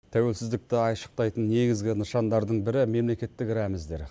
тәуелсіздікті айшықтайтын негізгі нышандардың бірі мемлекеттік рәміздер